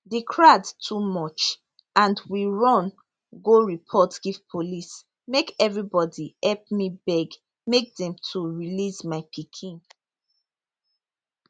the crowd too much and we run go report give police make everybody help me beg make dem to release my pikin